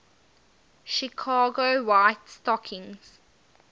chicago white stockings